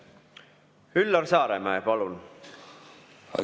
Üllar Saaremäe, palun!